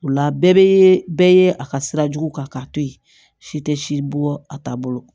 O la bɛɛ bɛ bɛɛ ye a ka sira jugu kan k'a to yen si tɛ si bɔ a ta bolo